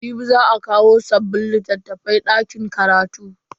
Jibi za a kawo sabbin littafan karatu dakin karatu.